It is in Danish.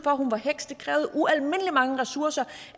at hun var en heks det krævede ualmindelig mange ressourcer